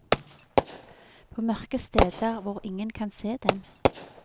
På mørke steder hvor ingen kan se dem.